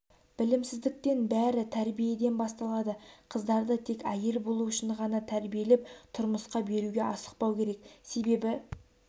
білімсіздіктен бәрі тәрбиеден басталады қыздарды тек әйел болу үшін ғана тәрбиелеп тұрмысқа беруге асықпау керек себебі